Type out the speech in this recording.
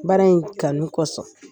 Baara in kanu kosɔn